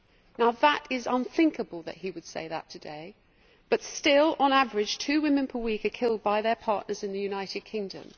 Now it is unthinkable that he would say that today, but still, on average, two women per week are killed by their partners in the United Kingdom.